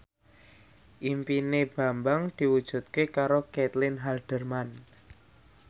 impine Bambang diwujudke karo Caitlin Halderman